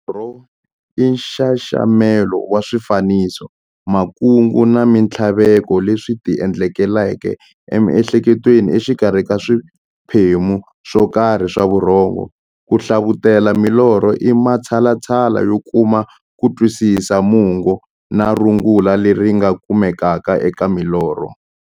Norho i nxaxamelo wa swifaniso, makungu na minthlaveko leswi ti endlekelaka emiehleketweni exikarhi ka swiphemu swokarhi swa vurhongo. Ku hlavutela milorho i matshalatshala yo kuma kutwisisa mungo na rungula leri nga kumekaka eka milorho.